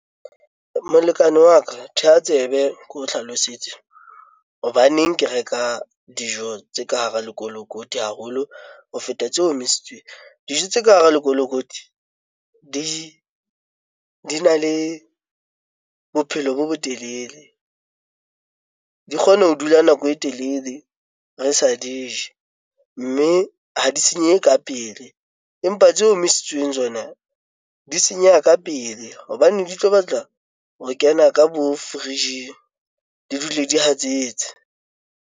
Molekane wa ka theha tsebe ke o hlalosetse hobaneng ke reka dijo tse ka hara lekolokoti haholo ho feta tse omisitsweng. Dijo tse ka hara lekolokoti di na le bophelo bo botelele, di kgone ho dula nako e telele re sa di je, mme ha di senyehe ka pele, empa tse omisitsweng tsona di senyeha ka pele hobane di tlo batla ho kena ka bo fridge di dule di hatsetse.